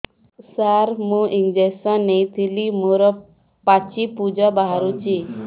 ସାର ମୁଁ ଇଂଜେକସନ ନେଇଥିଲି ମୋରୋ ପାଚି ପୂଜ ବାହାରୁଚି